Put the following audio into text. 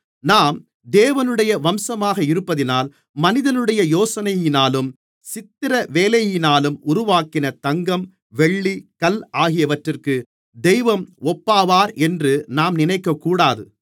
நாம் தேவனுடைய வம்சமாக இருப்பதினால் மனிதனுடைய யோசனையினாலும் சித்திரவேலையினாலும் உருவாக்கின தங்கம் வெள்ளி கல் ஆகியவற்றிக்கு தெய்வம் ஒப்பாவார் என்று நாம் நினைக்கக்கூடாது